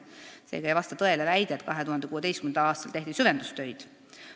Seega ei vasta tõele väide, et 2016. aastal tehti süvendustöid.